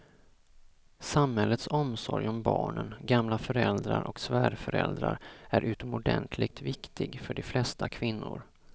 Samhällets omsorg om barnen, gamla föräldrar och svärföräldrar är utomordentligt viktig för de flesta kvinnor.